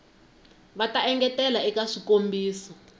va ta engetela eka swikombiso